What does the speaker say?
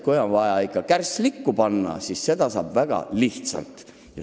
Kui on vaja kärss likku panna, siis seda saab teha väga lihtsalt.